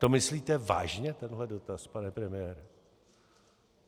To myslíte vážně, tenhle dotaz, pane premiére?